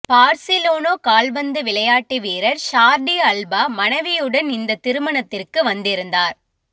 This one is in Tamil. பார்சிலோனோ கால்பந்து விளையாட்டு வீரர் ஸார்டி அல்பா மனைவியுடன் இந்த திருமணத்திற்கு வந்திருந்தார்